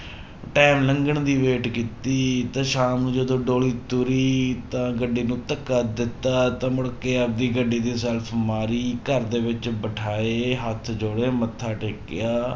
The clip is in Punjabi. time ਲੰਘਣ ਦੀ wait ਕੀਤੀ ਤੇ ਸ਼ਾਮ ਨੂੰ ਜਦੋਂ ਡੋਲੀ ਤੁਰੀ ਤਾਂ ਗੱਡੀ ਨੂੰ ਧੱਕਾ ਦਿੱਤਾ ਤਾਂ ਮੁੜਕੇ ਆਪਦੀ ਗੱਡੀ ਦੀ ਸੈਲਫ਼ ਮਾਰੀ ਘਰਦੇ ਵਿੱਚ ਬਿਠਾਏ ਹੱਥ ਜੋੜੇੇ ਮੱਥਾ ਟੇਕਿਆ